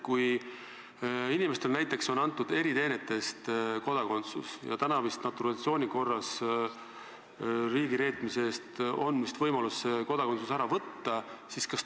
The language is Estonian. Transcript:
Kui inimesele on näiteks eriteenete eest antud kodakondsus, siis praegu vist on naturalisatsiooni korras saanult võimalik see kodakondsus riigireetmise eest ära võtta.